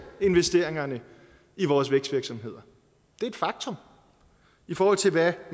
investeringerne i vores vækstvirksomheder det er et faktum i forhold til hvad